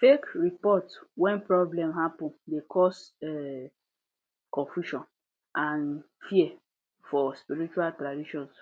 fake report when problem happen de cause um confusion and fear for spirtual traditions